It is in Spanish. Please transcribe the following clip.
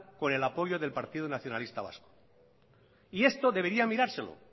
con el acuerdo del partido nacionalista vasco y esto debería mirárselo